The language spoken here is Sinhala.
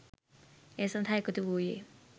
ඒ සඳහා එකතු වූයේ